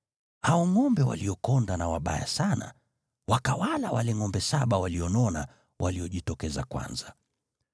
Hao ngʼombe waliokonda na wabaya sana wakawala wale ngʼombe saba walionona waliojitokeza kwanza.